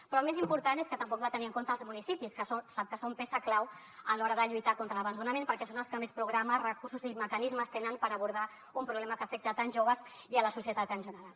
però el més important és que tampoc va tenir en compte els municipis que sap que són peça clau a l’hora de lluitar contra l’abandonament perquè són els que més programes recursos i mecanismes tenen per abordar un problema que afecta tants joves i la societat en general